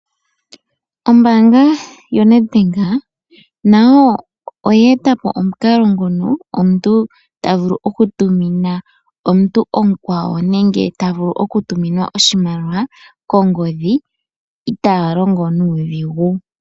Ombaanga yoNedbank nayo oya eta po omukalo ngono omuntu ta vulu oku tumina omuntu omukwawo nenge ta vulu oku tuminwa oshimaliwa kongodhi itaa longo nuudhigu.